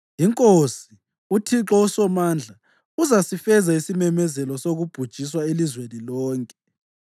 INkosi, uThixo uSomandla, uzasifeza isimemezelo sokubhujiswa elizweni lonke.